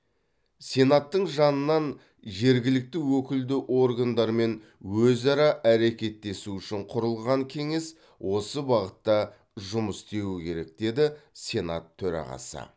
сенаттың жанынан жергілікті өкілді органдармен өзара әрекеттесу үшін құрылған кеңес осы бағытта жұмыс істеуі керек деді сенат төрағасы